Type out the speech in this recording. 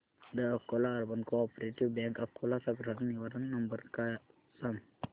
the Akola urban cooperative bank Akola चा ग्राहक निवारण नंबर सांग